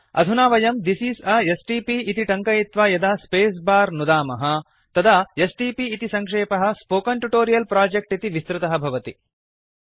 अधुना वयं this is a STP इति टङ्कयित्वा यदा स्पेस् बार नुदामः तदा एसटीपी इति सङ्क्षेपः स्पोकेन ट्यूटोरियल् प्रोजेक्ट् इति विस्तृतः भवति